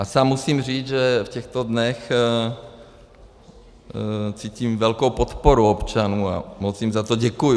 A sám musím říct, že v těchto dnech cítím velkou podporu občanů a moc jim za to děkuji.